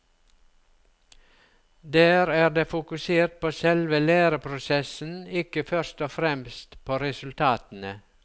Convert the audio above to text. Der er det fokusert på selve læreprosessen, ikke først og fremst på resultatene.